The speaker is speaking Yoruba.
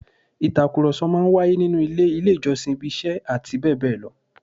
Ìtàkùrọ̀sọ máa ń wáyé nínú ilé, ilé ìjọsìn, ibi iṣẹ́ àti bẹ́ẹ̀ bẹ́ẹ̀ lọ